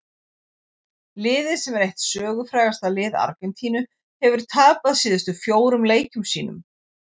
Liðið sem er eitt sögufrægasta lið Argentínu hefur tapað síðustu fjórum leikjum sínum.